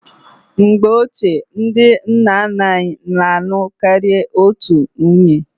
Mgbe ochie, ndị nna nna anyị na-alụ karịa otu nwunye.